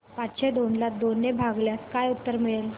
पाचशे दोन ला दोन ने भागल्यास काय उत्तर मिळेल